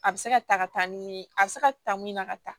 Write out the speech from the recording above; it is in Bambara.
A bɛ se ka ta ka taa ni ye a bɛ se ka ta mun na ka taa